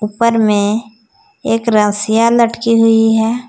उपर में एक रस्सियां लटकी हुई है।